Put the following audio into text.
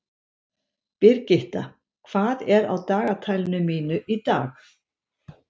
Brigitta, hvað er á dagatalinu mínu í dag?